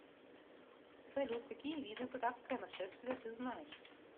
салют какие виды татарское нашествие ты знаешь